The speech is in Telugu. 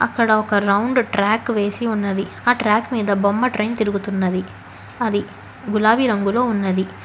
అక్కడ ఒక రౌండ్ ట్రాక్ వేసి ఉన్నది ఆ ట్రాక్ మీద బొమ్మ ట్రైన్ తిరుగుతున్నది అది గులాబీ రంగులో ఉన్నది.